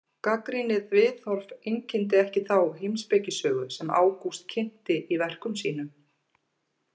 Gagnrýnið viðhorf einkenndi ekki þá heimspekisögu sem Ágúst kynnti í verkum sínum.